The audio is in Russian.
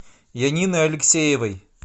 янины алексеевой